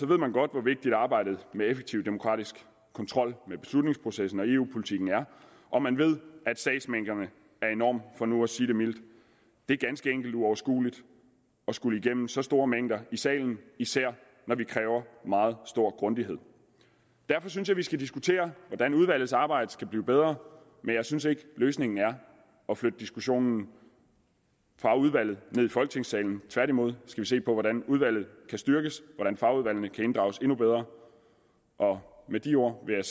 ved man godt hvor vigtigt arbejdet med effektiv demokratisk kontrol med beslutningsprocessen og eu politikken og man ved at sagsmængderne er enorme for nu at sige det mildt det er ganske enkelt uoverskueligt at skulle igennem så store mængder i salen især når vi kræver meget stor grundighed derfor synes jeg vi skal diskutere hvordan udvalgets arbejde skal blive bedre men jeg synes ikke løsningen er at flytte diskussionen fra udvalget ned i folketingssalen tværtimod skal vi se på hvordan udvalget kan styrkes hvordan fagudvalgene kan inddrages endnu bedre med de ord vil